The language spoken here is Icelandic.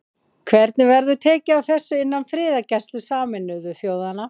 Hvernig væri tekið á þessu innan friðargæslu Sameinuðu þjóðanna?